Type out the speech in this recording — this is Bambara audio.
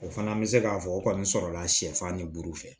O fana bɛ se k'a fɔ o kɔni sɔrɔla sɛfan ni buru fɛ